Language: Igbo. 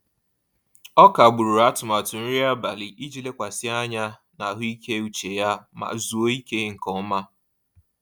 Ọ kagburu atụmatụ nri abalị iji lekwasị anya na ahụike uche ya ma zuoo ike nke ọma.